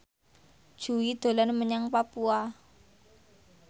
Jui dolan menyang Papua